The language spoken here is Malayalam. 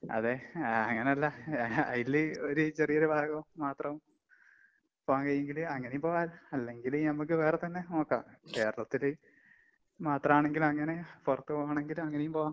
അതെ. ആഹ് അങ്ങനല്ല. അയില് ഒരു ചെറിയൊരു ഭാഗം മാത്രം പോകാൻ കഴിയൂങ്കില് അങ്ങനേം പോകാലോ. അല്ലെങ്കില് ഞമ്മക്ക് വേറെ തന്നെ നോക്കാം. കേരളത്തില് മാത്രാണെങ്കി അങ്ങനെ പൊറത്ത് പോവാണെങ്കിലും അങ്ങനേം പോവാം.